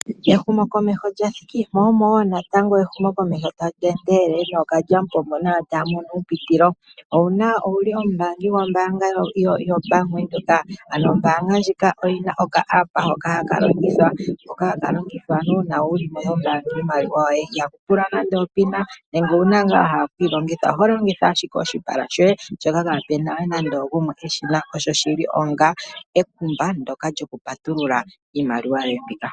Ehumokomeho lya thiki mo wo natango ehumokomeho tali endelele nookalyamupombo nayo taya mono uupitulo. Owuna, owuli omumbaangi gwombaanga yoBank Windhoek? Ano ombaanga ndjika oyi na oka app hoka haka longithwa, hoka haka longithwa uuna wuli yombaanga iimaliwa yoye. Ihaku tulwa nande opina nenge uuna wa hala okuyi longitha oho longitha ashike oshipala shoye shoka kaapena nande ogumwe eshina. Osho shili onga ekumba ndoka lyoku patulula iimaliwa yoye mbika.